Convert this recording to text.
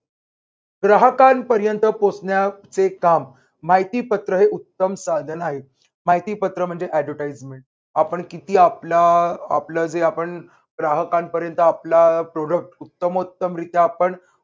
ग्राहकांपर्यंत पोहोचण्याचे काम माहिती पत्र हे उत्तम साधन आहे. माहिती पत्र म्हणजे advertisement आपण किती आपलं अह आपलं जे आपण ग्राहकांपर्यंत आपला product उत्तमोत्तम रित्या आपण